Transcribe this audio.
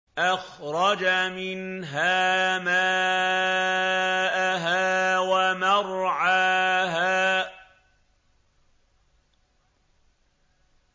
أَخْرَجَ مِنْهَا مَاءَهَا وَمَرْعَاهَا